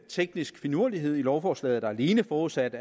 teknisk finurlighed i lovforslaget der er alene forudsat